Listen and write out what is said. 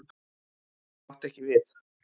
Það átti ekki við.